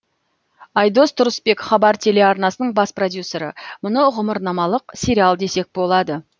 айдос тұрысбек хабар телеарнасының бас продюсері мұны ғұмырнамалық сериал десек болады